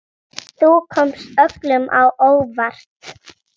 Þú komst öllum á óvart.